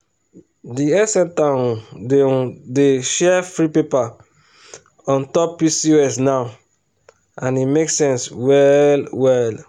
the health center um dey um dey share free paper on top pcos now and e make sense well well.